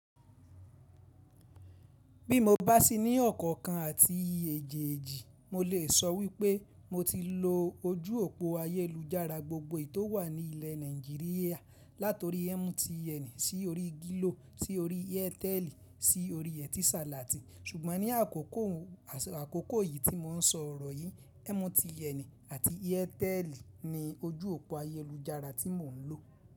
Bí mo bá si ní ọ̀kọ̀ọ̀kan àti èje-eji, mo lè sọ wípé mo ti lo ojú òpó ayélujára gbógbò ètò wà ní ilẹ̀ Nàìjíríà látori MTN sí orí Glo sí orí Airtel sí orí Etisalat. Ṣùgbọ́n ní àkókò yìí tí mo ń sọ ọ̀rọ̀ yìí, MTN àti Airtel ni ojú òpó ayélujára tí mo ń lò.